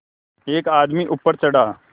एक आदमी ऊपर चढ़ा